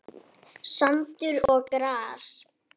Sandur og gras.